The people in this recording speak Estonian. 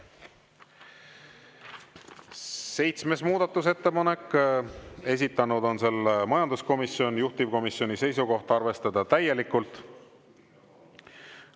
Seitsmes muudatusettepanek, esitanud on selle majanduskomisjon, juhtivkomisjoni seisukoht: arvestada täielikult.